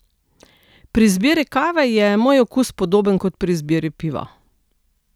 Pri izbiri kave je moj okus podoben kot pri izbiri piva.